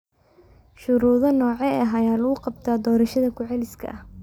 Shuruudo noocee ah ayaa lagu qabtaa doorashada ku celiska ah?